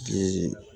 Ji